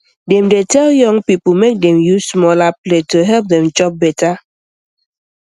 dem dey tell young people make dem use smaller plate to help dem chop better